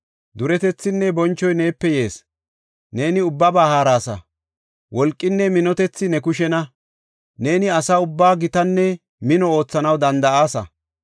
Duretethinne bonchoy neepe yees; neeni ubbaba haarasa. Wolqinne minotethi ne kushena; neeni asa ubbaa gitanne mino oothanaw danda7aasa.